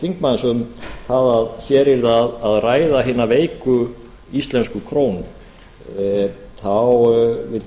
þingmanns um að hér yrði að ræða hina veiku íslensku krónu þá vildi